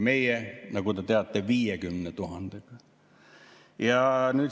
Meie, nagu te teate, 50 000‑ga.